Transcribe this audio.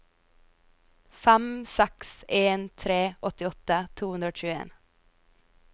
fem seks en tre åttiåtte to hundre og tjueen